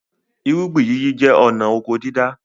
Irúgbìn yíyí jẹ́ ọnà oko dídá